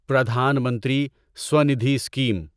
پردھان منتری سوندھی اسکیم